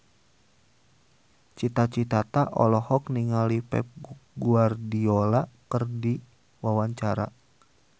Cita Citata olohok ningali Pep Guardiola keur diwawancara